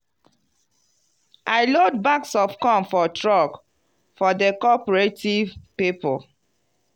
i load bags of corn for truck for di cooperative people.